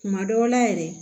Kuma dɔw la yɛrɛ